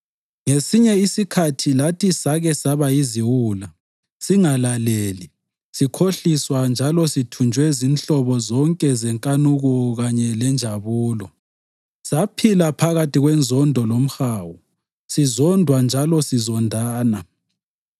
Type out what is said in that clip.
Ngesinye isikhathi lathi sake saba yiziwula, singalaleli, sikhohliswa njalo sithunjwe zinhlobo zonke zenkanuko kanye lenjabulo. Saphila phakathi kwenzondo lomhawu, sizondwa njalo sizondana.